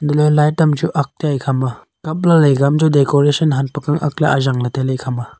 le light am chu ak tai ekhama kapla ega am chu decoration ak le aanjang le taile ekhama.